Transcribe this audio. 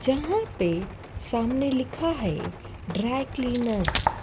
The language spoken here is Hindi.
जहां पे सामने लिखा है ड्राई क्लीनर्स --